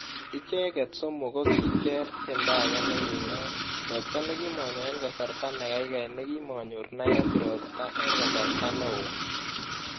Icheket somok ko kicher tiendo age nikiinaak, ropta nekimonyo en kasarta nekaikai nekimonyor Nairobi ropta en kasarta neo.